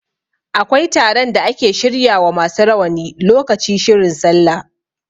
Akwai taron da ake shirya wa masu rawani lokaci shirin sallah.